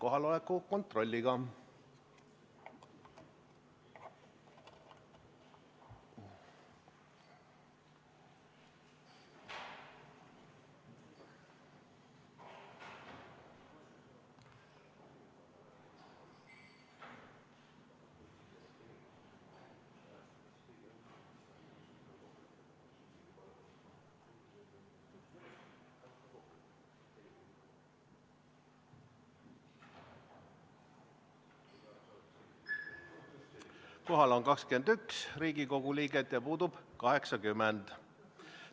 Kohaloleku kontroll Kohal on 21 Riigikogu liiget ja puudub 80.